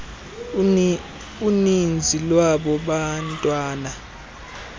uninzi lwaba bantwana